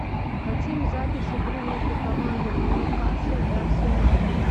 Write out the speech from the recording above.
хотим запись игры между командами ньюкасл и арсенал